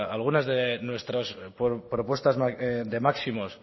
algunas de nuestras propuestas de máximos